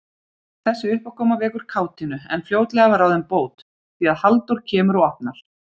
Þessi uppákoma vekur kátínu, en fljótlega er ráðin bót, því að Halldóra kemur og opnar.